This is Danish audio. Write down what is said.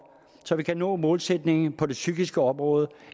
så vi kan nå målsætningen på det psykiske område